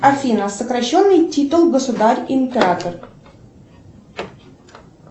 афина сокращенный титул государь император